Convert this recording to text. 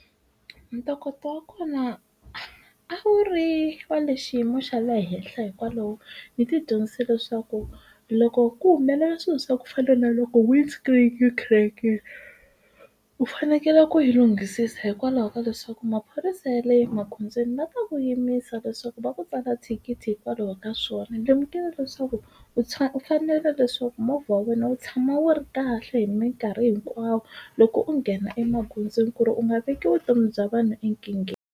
Ntokoto wa kona a wu ri wa le xiyimo xa le henhla hikwalaho ndzi ti dyondzise leswaku loko ku humelela swilo swa ku fana na loko wind screen yi crack-ile u fanekele ku yi lunghisisa hikwalaho ka leswaku maphorisa ya le magondzweni va ta ku yimisa leswaku va ku tsala thikithi hikwalaho ka swona lemukile leswaku u tshama u fanele leswaku movha wa wena wu tshama wu ri kahle hi minkarhi hinkwawo loko u nghena emagondzweni ku ri u nga veki vutomi bya vanhu enkingheni.